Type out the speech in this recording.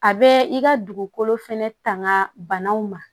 A bɛ i ka dugukolo fɛnɛ tanga banaw ma